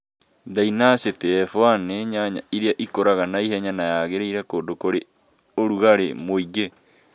Ndainacitĩ F1 nĩ nyanya ĩrĩa ĩkũraga na ĩhenya na yagĩrĩire kũndu kũr ĩ rugarĩ mũingi